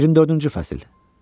24-cü fəsil.